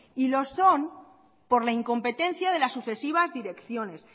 y lo son por la incompetencia de las sucesivas direcciones